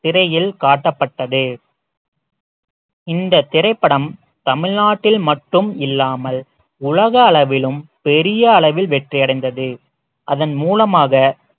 திரையில் காட்டப்பட்டது இந்த திரைப்படம் தமிழ்நாட்டில் மட்டும் இல்லாமல் உலக அளவிலும் பெரிய அளவில் வெற்றி அடைந்தது அதன் மூலமாக